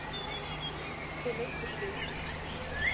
Svo meiddist ég illa.